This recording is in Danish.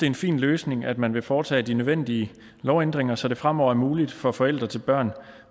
en fin løsning at man vil foretage de nødvendige lovændringer så det fremover er muligt for forældre til børn